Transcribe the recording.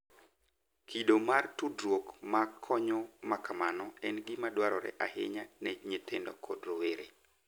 Kido mar tudruok ma konyo ma kamano en gima dwarore ahinya ne nyithindo kod rowere .